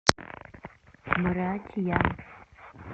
братья